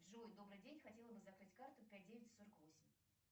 джой добрый день хотела бы закрыть карту пять девять сорок восемь